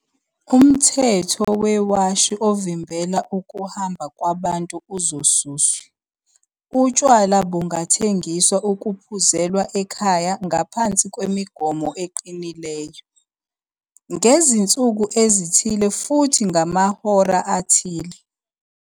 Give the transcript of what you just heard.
Umthetho wewashi ovimbela ukuhamba kwabantu uzosuswa. "Utshwala bungathengiswa ukuphuzelwa ekhaya ngaphansi kwemigomo eqinileyo, ngezinsuku ezithile futhi ngamahora athile."